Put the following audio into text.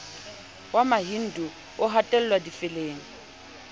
wa mahindu ho hatellwa difeleng